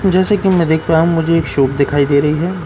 जैसे कि मैं देख पा रहा हूं मुझे एक सूट दिखाई दे रही है।